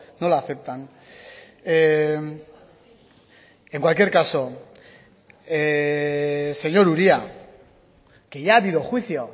no la aceptan en cualquier caso señor uria que ya ha habido juicio